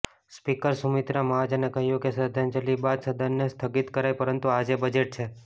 speaker સુમિત્રા મહાજને કહ્યું કે શ્રદ્ધાંજલિ બાદ સદનને સ્થગિત કરાય પરંતુ આજે બજેટ છે